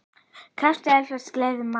krákur eflaust gleðja má.